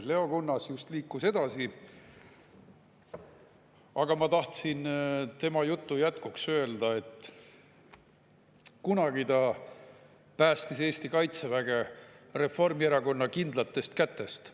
Leo Kunnas just liikus edasi, aga ma tahtsin tema jutu jätkuks öelda, et kunagi ta päästis Eesti kaitseväge Reformierakonna kindlatest kätest.